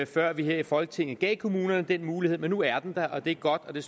før vi her i folketinget gav kommunerne den mulighed men nu er den der og det er godt det